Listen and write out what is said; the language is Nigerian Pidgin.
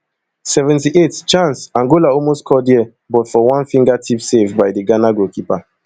seventy-eight chance angola almost score dia but for one fingertip save by di ghana keeper